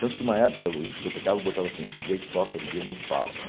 Tanto que uma época o discotecável botava assim, Di dJei toca, Di dJjei não fala.